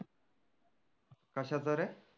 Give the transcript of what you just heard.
कशाच रे